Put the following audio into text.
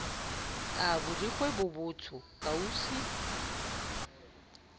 a borikgwe bo botsho kausu